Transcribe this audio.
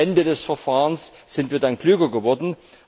Am Ende des Verfahrens sind wir dann klüger geworden.